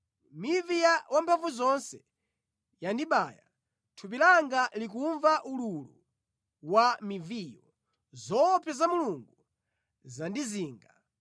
Mivi ya Wamphamvuzonse yandibaya, thupi langa likumva ululu wa miviyo; zoopsa za Mulungu zandizinga.